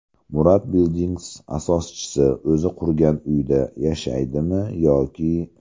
Murad Buildings asoschisi o‘zi qurgan uyda yashaydimi yoki…?.